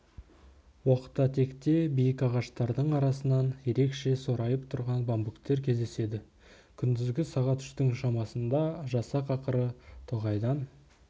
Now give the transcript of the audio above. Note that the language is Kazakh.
оқта-текте биік ағаштардың арасынан ерекше сорайып тұрған бамбуктер кездеседі күндізгі сағат үштің шамасында жасақ ақыры тоғайдан